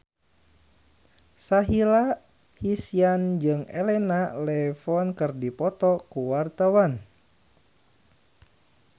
Sahila Hisyam jeung Elena Levon keur dipoto ku wartawan